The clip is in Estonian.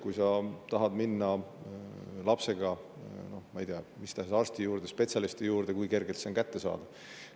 Kui sa tahad minna lapsega mis tahes arsti juurde, spetsialisti juurde, siis kui kergelt see on kättesaadav.